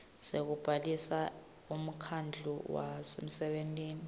sekubhalisa umkhandlu webasebenti